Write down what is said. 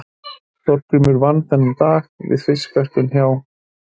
Þórgunnur vann þennan dag við fiskverkun hjá